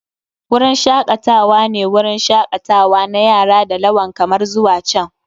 Wurin shakatawa ne wurin shakatawa na yara da lawal kamar zuwa can.